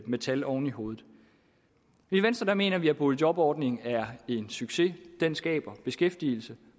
med tal oven i hovedet i venstre mener vi at boligjobordningen er en succes den skaber beskæftigelse